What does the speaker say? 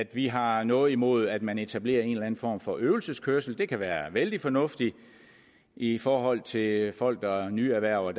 vi har noget imod at man etablerer en eller anden form for øvelseskørsel det kan være vældig fornuftigt i forhold til folk der nyerhverver